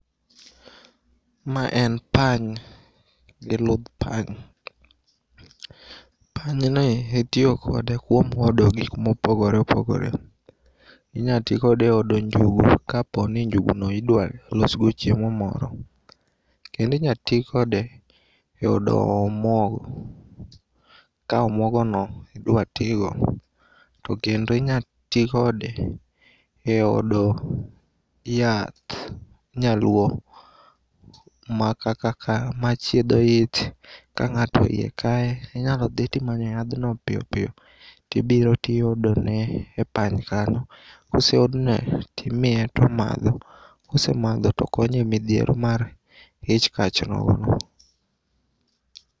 Ma en pany gi ludh pany. Panyni itiyo kode kuom hodo gik mopogore opogore. Inyatii kode eodo njugu kaponi njuguno idwalosgo chiemo moro. Kendo inyatii kode eodo omuogo ka omuogono idwatigo to kendo inyatii kode e odo yath nyaluo makaka machiedho ich. Ka ng'ato iye kaye inyalodhi timanyo yadhno piyopiyo tibiro tiodone e pany kanyo koseodne timiye tomadho kosemadho tokonye e midhiero mar ich kach nogono.